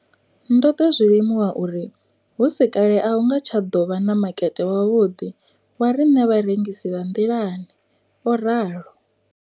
Ndo ḓo zwi limuwa uri hu si kale a hu nga tsha ḓo vha na makete wavhuḓi wa riṋe vharengisi vha nḓilani, o ralo.